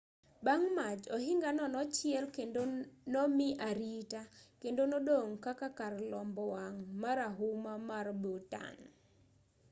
bang' mach ohingano nochiel kendo nomi arita kendo nodong' kaka kar lombo wang' marahuma mar bhutan